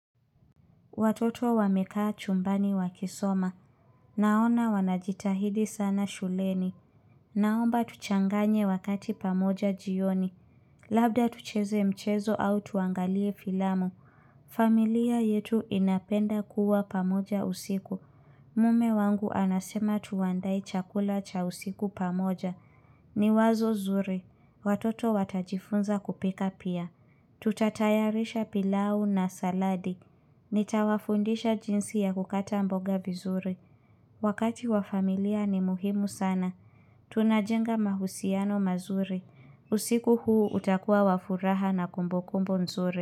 Watoto wamekaa chumbani wakisoma. Naona wanajitahidi sana shuleni. Naomba tuchanganye wakati pamoja jioni. Labda tucheze mchezo au tuangalie filamu. Familia yetu inapenda kuwa pamoja usiku. Mume wangu anasema tuandae chakula cha usiku pamoja. Ni wazo zuri. Watoto watajifunza kupika pia. Tutatayarisha pilau na saladi Nitawafundisha jinsi ya kukata mboga vizuri Wakati wa familia ni muhimu sana Tunajenga mahusiano mazuri. Usiku huu utakuwa wa furaha na kumbukumbu nzuri.